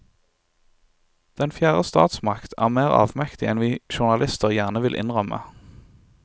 Den fjerde statsmakt er mer avmektig enn vi journalister gjerne vil innrømme.